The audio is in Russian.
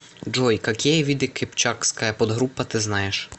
джой какие виды кыпчакская подгруппа ты знаешь